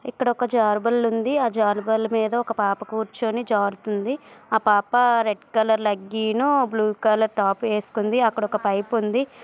ఇక్కడ ఒక జార్బల్ ఉంది ఆ జార్బల్ మీద ఒక పాప కూర్చొని జారుతుంది ఆ పాప red colour legging blue colour top వేసుకుంది అక్కడ ఒక పైప్ ఉంది